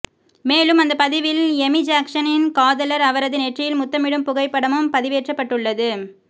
மேலும் அந்த பதிவில் எமி ஜாக்சனின் காதலர் அவரது நெற்றியில் முத்தமிடும் புகைப்படமும் பதிவேற்றப்பட்டுள்ளது